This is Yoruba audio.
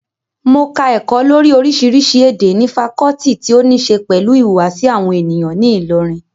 Mo ka ẹ̀kọ́ lórii oríṣiríṣi èdè ní fakọọti ti óníse pẹ̀lú ìhùwàsí àwọn ènìyàn ní ilọ́rin